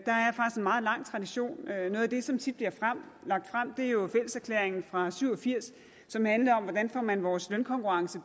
meget lang tradition noget af det som tit bliver lagt frem er jo fælleserklæringen fra nitten syv og firs som handlede om hvordan man får vores lønkonkurrence